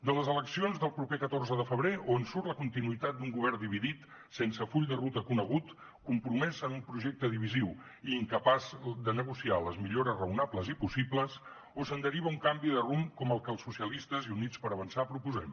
de les eleccions del proper catorze de febrer o en surt la continuïtat d’un govern dividit sense el full de ruta conegut compromès en un projecte divisiu i incapaç de negociar les millores raonables i possibles o se’n deriva un canvi de rumb com el que els socialistes i units per avançar proposem